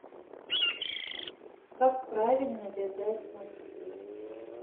как правильно вязать носки